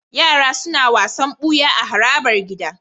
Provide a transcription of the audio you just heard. Yara suna wasan buya a harabar gida